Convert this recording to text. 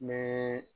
N bɛ